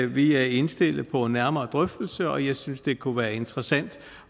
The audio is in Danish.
vi er indstillet på en nærmere drøftelse og jeg synes det kunne være interessant